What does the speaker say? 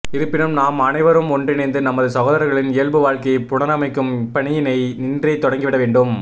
இருப்பினும் நாம் அனைவரும் ஒன்றிணைந்து நமது சகோதரர்களின் இயல்பு வாழ்க்கையை புனரமைக்கும் இப்பணியினை இன்றே தொடங்கிட வேண்டும்